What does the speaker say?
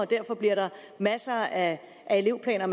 derfor bliver masser af elevplaner